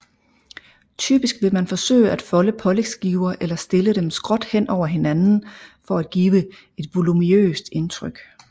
Typisk vil man forsøge at folde pålægsskiver eller stille dem skråt hen over hinanden for at give et voluminøst indtryk